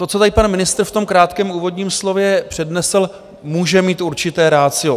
To, co tady pan ministr v tom krátkém úvodním slově přednesl, může mít určité ratio.